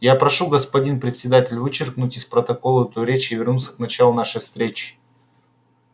я прошу господин председатель вычеркнуть из протокола эту речь и вернуться к началу нашей встречи